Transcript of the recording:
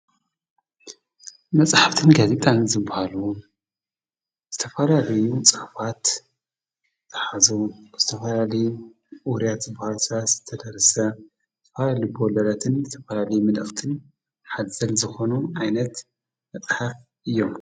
መጽሓፍትን ጋዜጣን ዝብሃል ዝተፈላልዩ ፅሁፍት ተሓዙ ዝተፈላለዩ ውርያት ዝበሃል ዝተደርሰ ትፈልል በወለለትን ዝተፈላሊ ምነፍትን ሓዘል ዝኾኑ ኣይነት ኣጥሓኽ እዮም::